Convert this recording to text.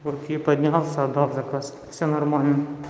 вот я поднялся отдал заказ всё нормально